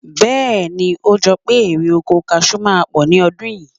Bẹ́ẹ̀ ni, o jọ pé erè-oko kaṣù máa pọ̀ ní ọdún yìí.